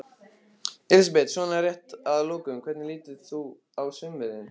Elísabet: Svona rétt að lokum, hvernig lítur þú á sumarið?